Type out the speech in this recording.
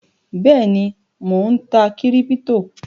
Bẹ́èni, Mó ń tá kíríptò